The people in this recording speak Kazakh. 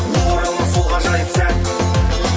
оралмас сол ғажайып сәт